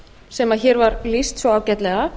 sem hér var lýst svo ágætlega